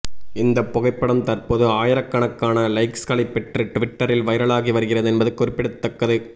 இந்த புகைப்படம் தற்போது ஆயிரக்கணக்கான லைக்ஸ்களை பெற்று டுவிட்டரில் வைரலாகி வருகிறது என்பது குறிப்பிடத்தக்கது